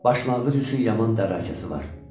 Başlanğıc üçün yaman dərrakəsi var.